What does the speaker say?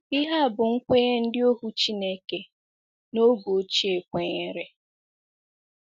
Ihe a bụ́ nkwenye ndị ohu Chineke n’oge ochie kwenyere.